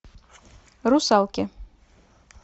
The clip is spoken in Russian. русалки